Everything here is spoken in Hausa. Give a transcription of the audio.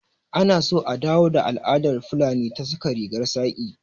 Anaso a dawo da al'adar fulani ta saka rigar saƙi